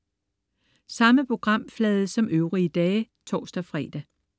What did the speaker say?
Samme programflade som øvrige dage (tors-fre)